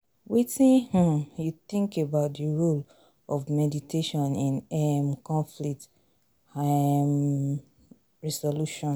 wetin um you think about di role of mediation in um conflict um resolution?